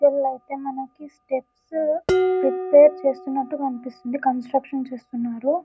విల్లైతే మనకి steps prepare చేస్తున్నట్టు కనిపిస్తుంది కన్స్ట్రక్షన్ చేస్తున్నారు.